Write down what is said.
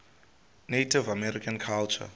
native american culture